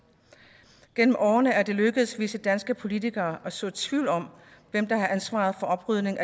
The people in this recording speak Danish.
gennem årene er det lykkedes visse danske politikere at så tvivl om hvem der har ansvaret for oprydningen